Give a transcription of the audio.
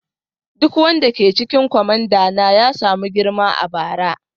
Duk wanda ke cikin kwamandana ya samu girma a bara.